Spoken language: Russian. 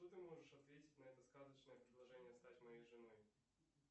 что ты можешь ответить на это сказочное предложение стать моей женой